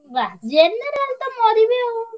ଯା general ତ ମରିବେ ଆଉ।